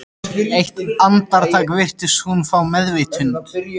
Eitt andartak virtist hún fá meðvitund.